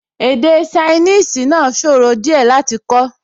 Èdè ṣainíìsì náà sòro díẹ̀ láti kọ́